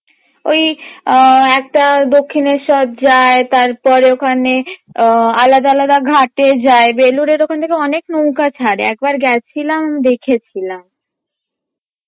ওই আহ একটা দক্ষিনেস্বর যায় তারপর ওখানে আহ আলাদা আলাদা ঘাটে যায় বেলুরের ওখান থেকে অনেক নৌকা ছাড়ে একবার গেছিলাম দেখেছিলাম